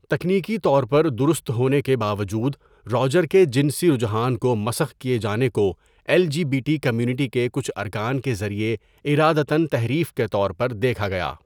تکنیکی طور پر درست ہونے کے باوجود، روجر کے جنسی رجحان کومسخ کیے جانے کو L G B T community کے کچھ ارکان کے ذریعہ ارادتاََتحریف کے طور پر دیکھا گیا۔